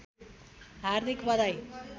हार्दिक बधाई